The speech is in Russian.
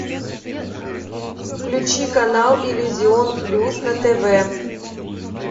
включи канал иллюзион плюс на тв